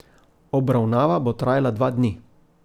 Obravnava bo trajala dva dni.